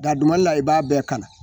Daduman la i b'a bɛɛ kala